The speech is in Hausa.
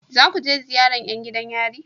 Za ku je ziyaran yan gidan yari?